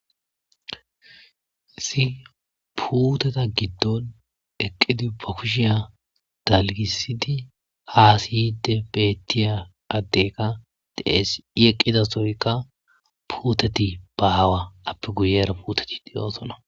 Isi puteta giddon eqqidi ba kushiya dalgisidi hasiyide bettiya addekka de'ees i eqqidasoykka puuteti bahawaappe guyera puteti diyoosona